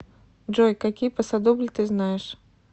джой какие пасодобль ты знаешь